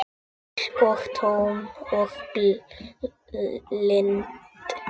Myrk og tóm og blind.